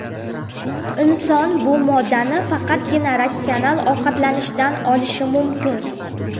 Inson bu moddani faqatgina ratsional ovqatlanishdan olishi mumkin.